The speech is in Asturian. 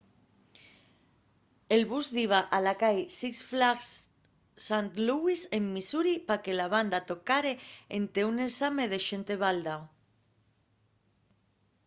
el bus diba a la cai six flags st louis en missouri pa que la banda tocare énte un ensame de xente baldao